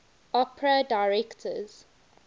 opera directors